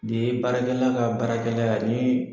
Nin ye baarakɛla ka baarakɛla yan n'i